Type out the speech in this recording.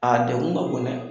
A degun ka bon dɛ!